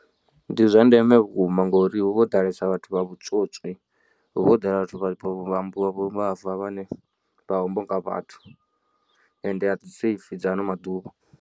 Ndi zwa ndeme vhukuma ngori hu vha ho ḓalesa vhathu vha vhutswotswi hu vha ho ḓala vhathu vha vhuvhava vhane vha homboka vhathu ende a dzi safe dza ano maḓuvha.